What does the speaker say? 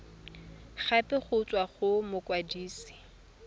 gape go tswa go mokwadise